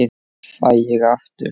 Fæ ég aftur?